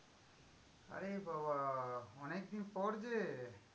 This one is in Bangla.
আরে বাবা, অনেকদিন পর যে।